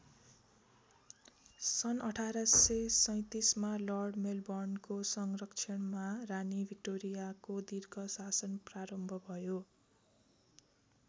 सन् १८३७ मा लर्ड मेलबर्नको संरक्षणमा रानी भिक्टोरियाको दीर्घ शासन प्रारम्भ भयो।